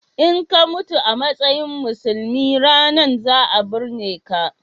in ka mutu a matsayin musulmi ranan za a binneka